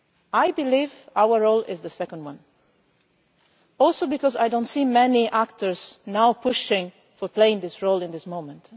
I believe our role is the second one, partly because I do not see many actors pushing to play this role at this moment.